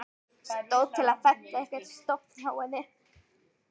Stóð til að fella einhvern stofn hjá henni?